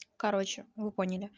короче вы поняли